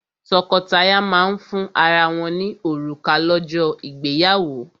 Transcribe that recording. Tọ́kọtaya máa ń fún ara wọ́n ní òrùka lọ́jọ́ ìgbéyàwó.